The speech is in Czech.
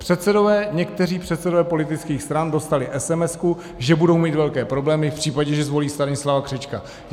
Předsedové, někteří předsedové politických stran dostali SMS, že budou mít velké problémy v případě, že zvolí Stanislava Křečka.